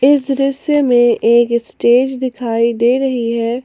इस दृश्य में एक स्टेज दिखाई दे रही है।